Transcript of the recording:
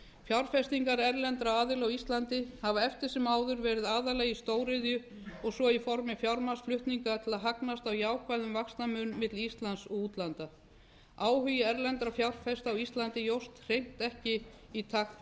fjárfestingar erlendra aðila á íslandi hafa eftir sem áður verið aðallega í stóriðju og svo í formi fjármagnsflutninga til að hagnast á jákvæðum vaxtamun milli íslands og útlanda áhugi erlendra fjárfesta á ísland jókst hreint ekki í takt